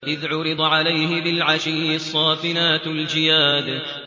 إِذْ عُرِضَ عَلَيْهِ بِالْعَشِيِّ الصَّافِنَاتُ الْجِيَادُ